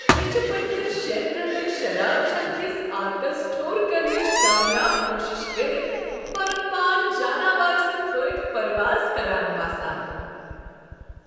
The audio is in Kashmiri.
مےٚ چھ پٔمٮ۪ن شیٚن رٮ۪تن شراب چنہٕ كِس عادتس ٹھور كرنٕچہِ کامیاب کوٗشش کٔرتھ پنٗن پان جاناوار سٕنٛدۍ پٲٹھۍ پرواز كران باسان۔